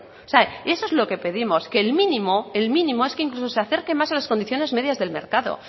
o sea eso es lo que pedimos que el mínimo el mínimo es que incluso se acerque más a las condiciones medias del mercado